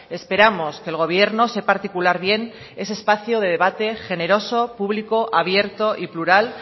esperamos que el gobierno sepa articular bien ese espacio de debate generoso público abierto y plural